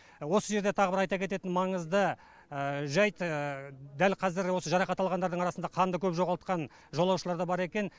осы жерде тағы бір айта кететін маңызды жайт дәл қазір осы жарақат алғандардың арасында қанды көп жоғалтқан жолаушылар да бар екен